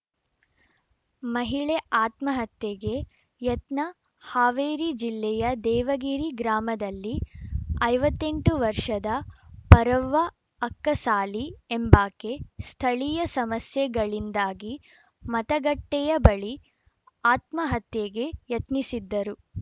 ಮಹಿಳೆ ಆತ್ಮಹತ್ಯೆಗೆ ಯತ್ನ ಹಾವೇರಿ ಜಿಲ್ಲೆಯ ದೇವಗಿರಿ ಗ್ರಾಮದಲ್ಲಿ ಐವತ್ತ್ ಎಂಟು ವರ್ಷದ ಪರವ್ವ ಅಕ್ಕಸಾಲಿ ಎಂಬಾಕೆ ಸ್ಥಳೀಯ ಸಮಸ್ಯೆಗಳಿಂದಾಗಿ ಮತಗಟ್ಟೆಯ ಬಳಿ ಆತ್ಮಹತ್ಯೆಗೆ ಯತ್ನಿಸಿದ್ದರು